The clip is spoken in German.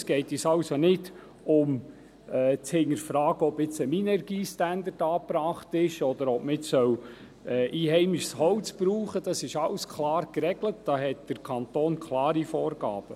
es geht uns also nicht darum, zu hinterfragen, ob ein Minergie-Standard angebracht ist oder ob man einheimisches Holz verwenden soll, denn dies alles ist klar geregelt, da hat der Kanton klare Vorgaben.